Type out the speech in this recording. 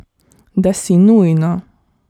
Da si nujno.